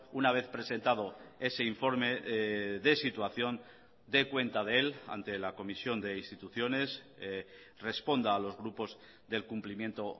una vez presentado ese informe de situación dé cuenta de él ante la comisión de instituciones responda a los grupos del cumplimiento